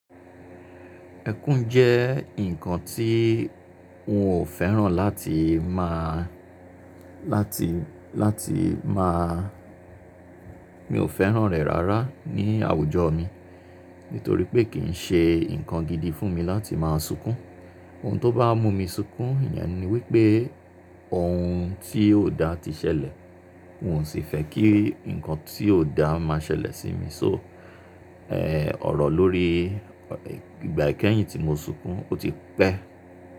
Ẹkún jẹ́ ǹkan tí n ò fẹ́ràn láti máa, láti, láti máa, mi ò fẹ́ràn rẹ̀ rárá ní àwùjọ mi. Nítorí pé kì í ṣe ǹkan gidi fún mi láti máa sunkún. Ohun tó bá mú mi sunkún, ìyẹn ni wípé ohun tí ò dá ti ṣẹlẹ̀. N ò sì fẹ́ kí ǹkan tí ò dá máa ṣẹlẹ̀ sí mi. So ọ̀rọ̀ lórí ìgbà ikẹyin tí mo sunkún, ó ti pẹ́.